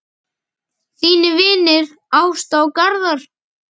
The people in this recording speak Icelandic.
Þínir vinir, Ásta og Garðar.